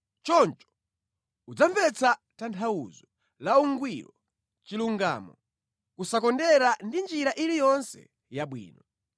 Choncho udzamvetsa tanthauzo la ungwiro, chilungamo, kusakondera ndi njira iliyonse yabwino.